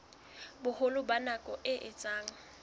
boholo ba nako e etsang